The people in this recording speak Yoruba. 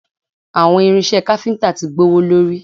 Àwọn irinṣẹ́ káfíntà ti gbówólórí